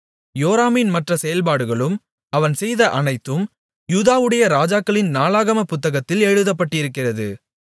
யோராமின் மற்ற செயல்பாடுகளும் அவன் செய்த அனைத்தும் யூதாவுடைய ராஜாக்களின் நாளாகமப் புத்தகத்தில் எழுதப்பட்டிருக்கிறது